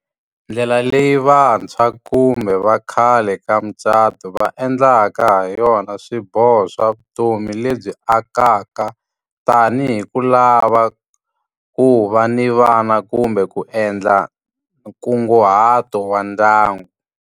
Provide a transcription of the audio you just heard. Ndlela leyi vantshwa kumbe va khale ka mucato va endlaka ha yona swiboho swa vutomi lebyi akaka, tanihi ku lava ku va ni vana kumbe ku endla nkunguhato wa ndyangu.